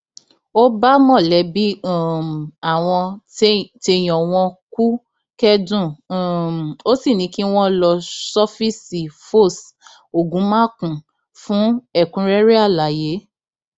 ó bá mọlẹbí um àwọn téèyàn wọn kú kẹdùn um ó sì ní kí wọn lọ sọfíìsì foss ogunmákun fún ẹkúnrẹrẹ àlàyé